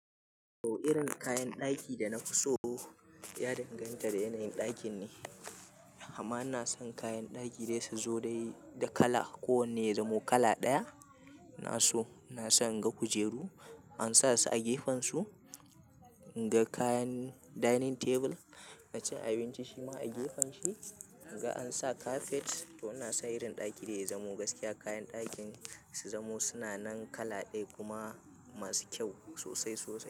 To irin kayan ɗaki da na fi so ya danganta da yanayin ɗakin ne. Amma ina son kayan ɗaki dai su zo dai da kala, ko wanne ya zamo kala ɗaya. Ina so, ina son in ga kujeru an sa su a gefen su. In ga kayan dining table na cin abinci shima a gefen shi. In ga an sa kafet. To ina son irin ɗaki da ya zamo gaskiya kayan ɗakin su zamo suna nan kala ɗaya kuma masu kyau sosai sosai.